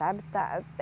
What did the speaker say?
Sabe está